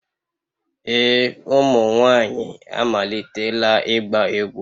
Ee, ụmụ nwanyị amalitela ịgba egwu